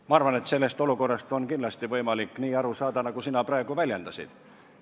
Ma arvan, et sellest olukorrast on kindlasti võimalik nii aru saada, nagu sina praegu väljendasid.